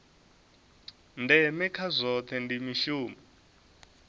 ndeme kha zwohe ndi mushumo